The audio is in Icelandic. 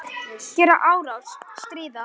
Gera árás- stríða